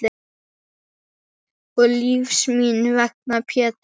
Og lífs míns vegna Pétur.